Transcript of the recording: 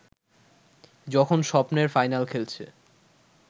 যখন স্বপ্নের ফাইনাল খেলছে